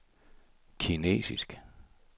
kinesisk